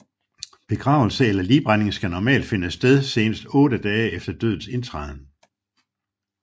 Begravelse eller ligbrænding skal normalt finde sted senest otte dage efter dødens indtræden